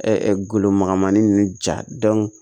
golomagamanin ninnu jago